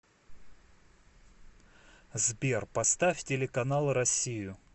сбер поставь телеканал россию